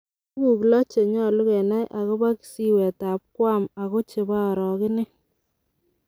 Tuguu loo cheyulo kenai agobo kisiwet ab Guam ago chebo orogenet.